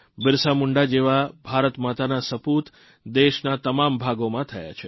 બિરસા મુંડા જેવા ભારતમાતાના સપૂત દેશના તમામ ભાગોમાં થયા છે